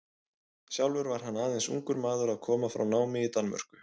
Sjálfur var hann aðeins ungur maður að koma frá námi í Danmörku.